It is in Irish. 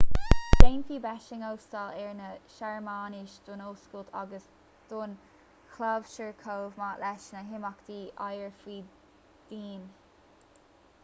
déanfaidh béising óstáil ar na searmanais don oscailt agus don chlabhsúr chomh maith leis na himeachtaí oighir faoi dhíon